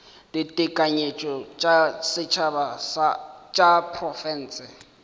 ditekanyetšo tša setšhaba tša diprofense